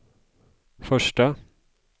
första